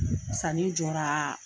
Sanni jɔra